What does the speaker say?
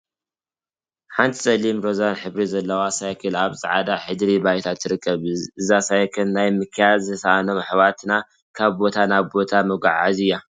ሓንቲ ፀሊምን ሮዛን ሕብሪ ዘለዋ ሳይክል አብ ፃዕዳ ድሕረ ባይታ ትርከብ፡፡ እዛ ሳይክል ናይ ምክያድ ዝተሰአኖም አሕዋትና ካብ ቦታ ናብ ቦታ መጓዓዓዚት እያ፡፡